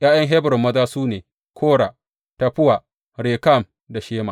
’Ya’yan Hebron maza su ne, Kora, Taffuwa, Rekem da Shema.